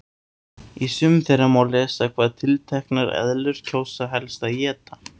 Í sumum þeirra má lesa hvað tilteknar eðlur kjósa helst að éta.